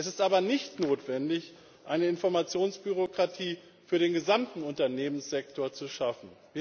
Es ist aber nicht notwendig, eine Informationsbürokratie für den gesamten Unternehmenssektor zu schaffen.